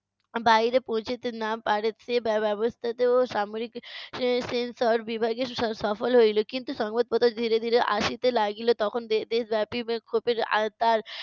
বাইরে পৌঁছাতে না পারে সে ব্য~ ব্য~ ব্যবস্থাতেও সামরিক এর censor বিভাগের স~ সফল হইলো। কিন্তু সংবাদপত্র ধীরে ধীরে আসিতে লাগিলো। তখন দে~ দেশব্যাপী বিক্ষোভের